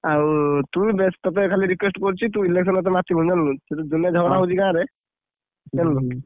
ଆଉ ତୁ ବେଷ୍ଟ ତତେ ଖାଲି request କରୁଛି। ତୁ election ମାତିବୁନି ଜାଣିଲୁ, ଝଗଡା ହଉଛି ଗାଁରେ ଜାଣିଲୁ ।